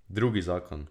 Drugi zakon.